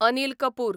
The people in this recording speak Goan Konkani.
अनील कपूर